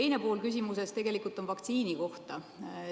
Teine pool küsimusest on vaktsiini kohta.